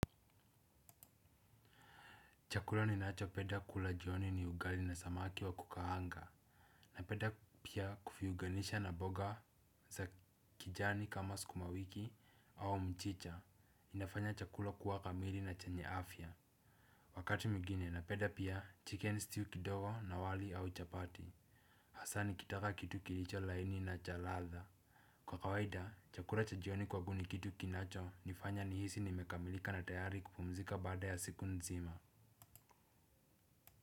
Chakula ninacho penda kula jioni ni ugali na samaki wa kukaanga. Napenda pia kuviunganisha na mboga za kijani kama skumawiki au mchicha inafanya chakula kuwa kamili na chenye afya. Wakati mwingine napenda pia chicken stew kidogo na wali au chapati. Hasaa nikitaka kitu kilicho laini na cha ladha. Kwa kawaida, chakula cha jioni kwa guni kitu kinacho nifanya nihisi nimekamilika na tayari kupumzika baada ya siku nzima.